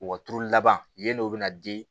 U ka turu laban yen n'o bɛ na di